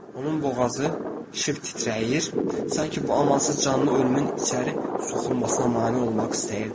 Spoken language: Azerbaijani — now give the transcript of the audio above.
Onun boğazı şıp titrəyir, sanki bu amansız canlı ölümün içəri soxulmasına mane olmaq istəyirdi.